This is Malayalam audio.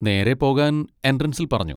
നേരെ പോകാൻ എൻട്രൻസിൽ പറഞ്ഞു.